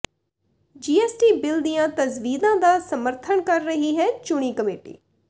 GST bill ਦੀਆਂ ਤਜਵੀਜ਼ਾਂ ਦਾ ਸਮਰੱਥਨ ਕਰ ਸਕਦੀ ਹੈ ਚੁਣੀ ਕਮੇਟੀ